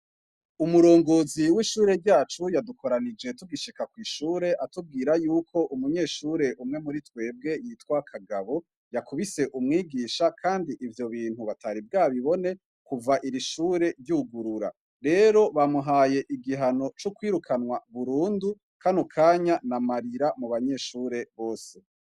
Umurongozi w'ishure ryacu yadukoranije tugishika kw'ishure atubwira y'uko umunyeshure umwe muri twebwe yitwa Kagabo yakubise umwigisha kandi ivyo bintu batari bwabibone kuva iri shure ryugurura. Rero, bamuhaye igihano co kwirukanwa burundu, kano kanya n'amarira mu banyeshure bose.